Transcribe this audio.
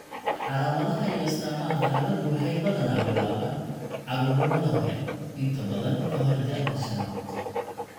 Calaamadaha iyo astaamaha xaaladdu waxay badanaa bilaabaan carruurnimada hore, inta badan ka hor da'da shaanad.